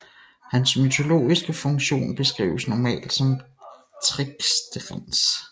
Hans mytologiske funktion beskrives normalt som tricksterens